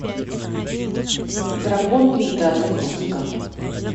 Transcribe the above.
дракон пита запусти ка